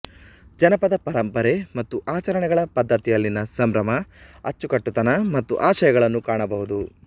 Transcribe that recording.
ಜಾನಪದ ಪರಂಪರೆ ಮತ್ತು ಆಚರಣೆಗಳ ಪದ್ಧತಿಯಲ್ಲಿನ ಸಂಭ್ರಮ ಅಚ್ಚುಕಟ್ಟುತನ ಮತ್ತು ಆಶಯಗಳನ್ನು ಕಾಣಬಹುದು